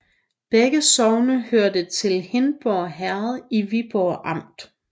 Begge sogne hørte til Hindborg Herred i Viborg Amt